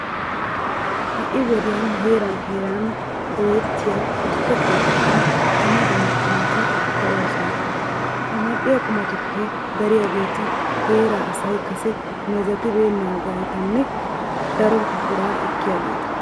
Ha"i wodiyan heeran heeran dooyettiya tukke keettatun dumma dumma qumati ka'oosona. Ha mal"iya qumatuppe dariyageeti heeraa asay kase meezetibeennaageetanne daro biraa ekkiyageeta.